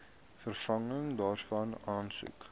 vervanging daarvan aansoek